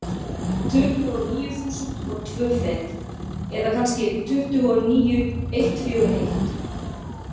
Tuttugu og níu þúsund og tvö fet, eða kannski tuttugu og níu eitt fjögur eitt.